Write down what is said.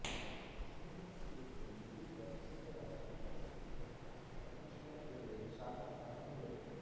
ಸಂಗೀತ ಕ್ಷೇತ್ರದಲ್ಲಿ ಈಗ ಪ್ರಸಿದ್ಧರಾದ ಗಣಪತಿ ಭಟ್ಟ ಪರಮೇಶ್ವರ ಹೆಗಡೆ ಶಾಂತಾರಾಮ ಹೆಗಡೆ